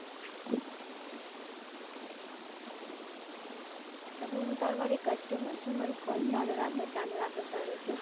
તમે તમારી customer છું મારી call ચાલુ રાખો ચાલુ રાખો કરો છો